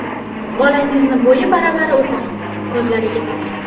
Bolangizni bo‘yi baravar o‘tiring, ko‘zlariga boqing.